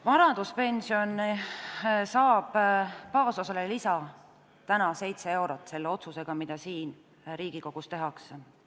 Vanaduspension saab baasosale täna 7 eurot lisa selle otsusega, mis siin Riigikogus tehakse.